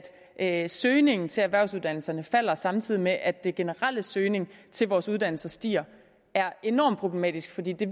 at at søgningen til erhvervsuddannelserne falder samtidig med at den generelle søgning til vores uddannelse stiger er enormt problematisk fordi det